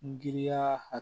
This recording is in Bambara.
Giriya